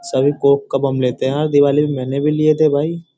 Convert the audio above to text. सभी कॉक का कदम लेते है भाई दीवाली पे मैंने भी लिए थे भाई।